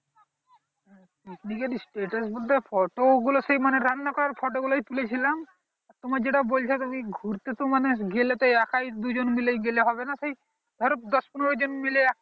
এক দিকে status বলতে photo গুলো সেই রান্না করার photo গুলোই তুলে ছিলাম তোমার যেটা বলছো তুমি ঘুরতে তো মানে গেলে তো একা দুই জন মিলে গেলে হবে না সেই ধরোদশপনেরো জন মিলে